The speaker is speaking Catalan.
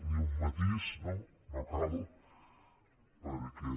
ni un matís no no cal perquè